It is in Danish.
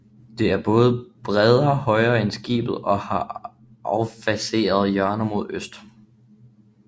Det er både bredere og højere end skibet og har affasede hjørner mod øst